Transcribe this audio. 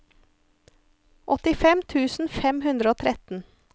åttifem tusen fem hundre og tretten